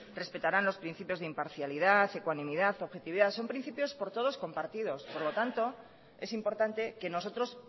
respetarán los principios de imparcialidad ecuanimidad objetividad son principios por todos compartidos por lo tanto es importante que nosotros